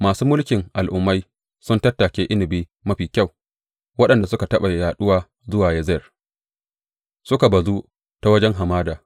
Masu mulkin al’ummai sun tattake inabi mafi kyau, waɗanda suka taɓa yaɗuwa zuwa Yazer suka bazu ta wajen hamada.